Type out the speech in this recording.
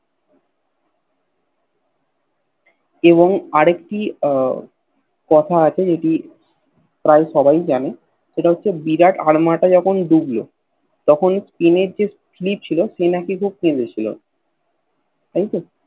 এবং আর একটি আহ কথা আছে যেটি প্রায় সবাই জানে সেটি হচ্ছে বিরাট আর্মদা যখন ডুবল তখন স্পেনের যে ফিলিপ ছিল সে নাকি খুব কেঁদেছিলো তাইতো